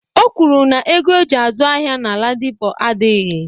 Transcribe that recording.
O kwuru na ego oji azụ ahịa na Ladipo adịghị.